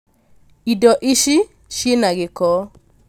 Indo Ici cina gĩko